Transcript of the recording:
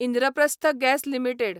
Indraprastha gas limited